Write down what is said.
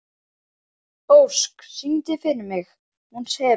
Ósk, syngdu fyrir mig „Hún sefur“.